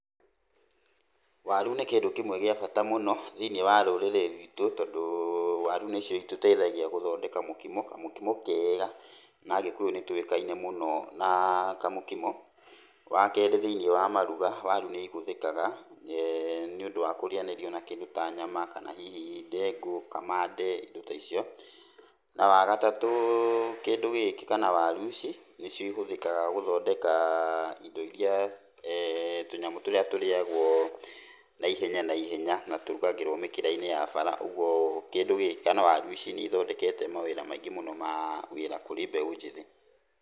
Waru nĩ kĩndũ kĩmwe gĩa bata mũno thĩini wa rũrĩri rwĩtũ tondũ warũ nĩcĩo ĩtũteĩthagĩa gũthondeka mũkĩmo, kamũkĩmo keega. Na agĩkũyu nĩtũĩkane mũno na kamũkĩmo. Wa keerĩ thĩini wa marũga warũ nĩ ĩhũthĩkaga nĩũndũ wa kũrĩanĩrio na kĩndũ ta nyama, kana hĩhĩ ndengu, kamande ĩndo ta ĩcĩo. Wa gatatũ kĩndũ gĩkĩ kana warũ ĩcĩ nĩcĩo ĩhũthĩkaga gũthondeka ĩndo ĩrĩa ee tũnyamũ tũrĩa tũrĩagwo naĩhenya naĩhenya na tũrũgagĩrwo mĩkĩra-ĩnĩ ya bara ogwo kĩndũ gĩkĩ kana warũ ĩcĩ nĩ ĩthondekete mawĩra maingĩ mũno ma wĩra kũrĩ mbeũ njĩthĩ.